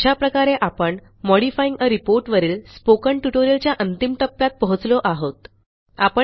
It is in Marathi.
अशा प्रकारे आपण मॉडिफाइंग आ रिपोर्ट वरील स्पोकन ट्युटोरियलच्या अंतिम टप्प्यात पोहोचलो आहोत